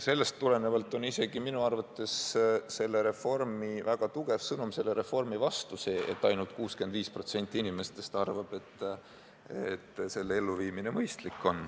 Sellest tulenevalt on isegi minu arvates väga tugev sõnum selle reformi vastu see, et ainult 65% inimestest arvab, et selle elluviimine on mõistlik.